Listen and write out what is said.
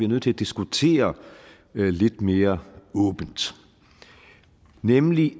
nødt til at diskutere lidt mere åbent nemlig